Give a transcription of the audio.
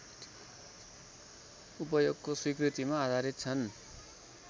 उपयोगको स्वीकृतिमा आधारित छन्